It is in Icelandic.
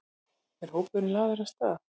Er hópurinn lagður af stað?